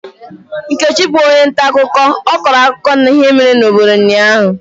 Nkechi bụ onye ntaakụkọ, ọ kọrọ akụkọ ihe mere n'obodo ụnyahụ.